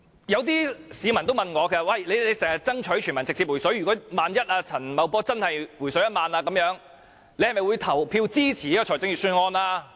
有些市民問我說，你們經常爭取全民直接"回水"，萬一陳茂波真的"回水 "1 萬元，你是否會投票支持預算案？